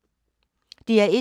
DR1